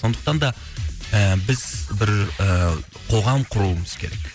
сондықтан да і біз бір і қоғам құруымыз керек